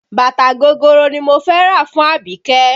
Bàtà gogoro ni mo fẹ́ rà fún Abike